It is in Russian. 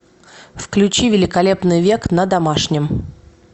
включи великолепный век на домашнем